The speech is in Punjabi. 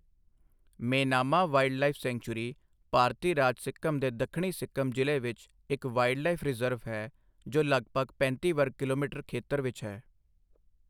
ਮੇਨਾਮਾ ਵਾਈਲਡਲਾਈਫ ਸੈਂਚੂਰੀ ਭਾਰਤੀ ਰਾਜ ਸਿੱਕਮ ਦੇ ਦੱਖਣੀ ਸਿੱਕਮ ਜ਼ਿਲ੍ਹੇ ਵਿੱਚ ਇੱਕ ਵਾਈਲਡਲਾਈਫ ਰਿਜ਼ਰਵ ਹੈ, ਜੋ ਲਗਭਗ ਪੈਂਤੀ ਵਰਗ ਕਿਲੋਮੀਟਰ ਖੇਤਰ ਵਿੱਚ ਹੈ।